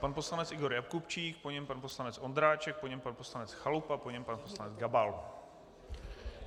Pan poslanec Igor Jakubčík, po něm pan poslanec Ondráček, po něm pan poslanec Chalupa, po něm pan poslanec Gabal.